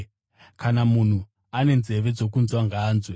Kana munhu ane nzeve dzokunzwa, ngaanzwe.”